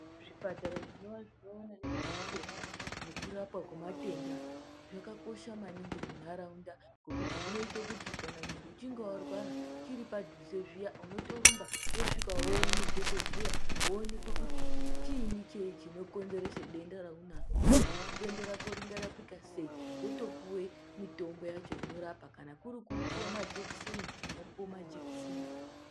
Zvipatara zvinova zvinoona nezvematenda nekurapwa kwematenda zvakakosha maningi mundharaunda ngekuti zvinoita kuti kana muntu uchinge warwara chiri padhuze zviya unotorumba wosvka woone dhokodheya woonekwa kuti chiinyi chinokonzeresa denda raunaro uye kuti denda rako ringarapika sei. Wotopuwa mitombo yacho inorapa . Kana kuri kupuwa majekiseni ,mopuwa majekiseni.